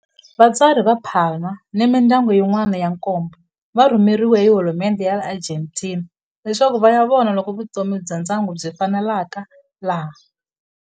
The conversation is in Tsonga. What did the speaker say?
Vatswari va Palma ni mindyangu yin'wana ya nkombo va rhumeriwe hi hulumendhe ya le Argentina leswaku va ya vona loko vutomi bya ndyangu byi faneleka laha.